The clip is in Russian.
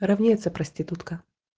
равняется проститутка